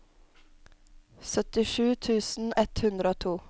syttisju tusen ett hundre og to